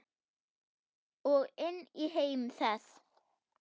Og inn í heim þess.